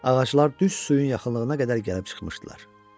Ağaclar düz suyun yaxınlığına qədər gəlib çıxmışdılar.